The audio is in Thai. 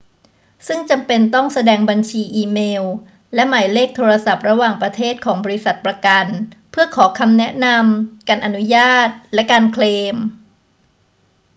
ซึ่งจำเป็นต้องแสดงบัญชีอีเมลและหมายเลขโทรศัพท์ระหว่างประเทศของบริษัทประกันเพื่อขอคำแนะนำ/การอนุญาต และการเคลม